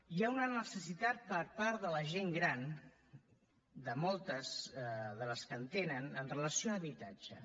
hi ha una necessitat per part de la gent gran de moltes de les que en tenen amb relació a habitatge